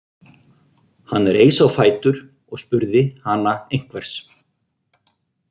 Hann reis á fætur og spurði hana einhvers.